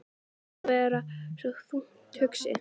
Mér sýnist þú vera svo þungt hugsi.